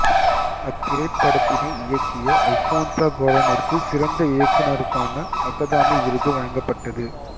அத்திரைப்படத்தினை இயக்கிய அல்போன்சா கெளரனிற்கு சிறந்த இயக்குனருக்கான அகாதமி விருது வழங்கப்பட்டது